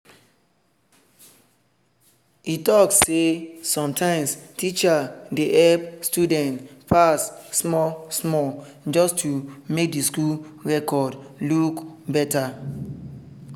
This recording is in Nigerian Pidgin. e talk say sometimes teachers dey help students pass small-small just to make the school record look better.